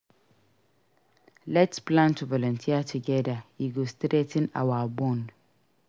Let s plan to volunteer together; e go strengthen our bond.